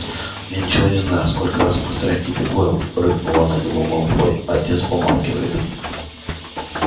я ничего не знаю сколько раз повторять тебе гойл рыкнул на него малфой отец помалкивает